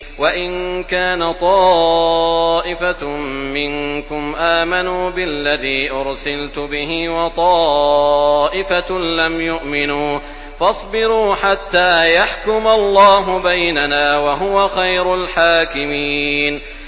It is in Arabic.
وَإِن كَانَ طَائِفَةٌ مِّنكُمْ آمَنُوا بِالَّذِي أُرْسِلْتُ بِهِ وَطَائِفَةٌ لَّمْ يُؤْمِنُوا فَاصْبِرُوا حَتَّىٰ يَحْكُمَ اللَّهُ بَيْنَنَا ۚ وَهُوَ خَيْرُ الْحَاكِمِينَ